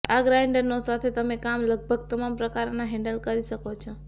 આ ગ્રાઇન્ડરનો સાથે તમે કામ લગભગ તમામ પ્રકારોને હેન્ડલ કરી શકો છો